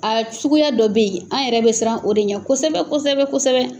A suguya dɔ bɛ yen an yɛrɛ bɛ siran o de ɲɛ kosɛbɛ kosɛbɛ kosɛbɛ.